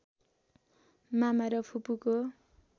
मामा र फुपूको